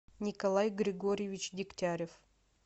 николай григорьевич дегтярев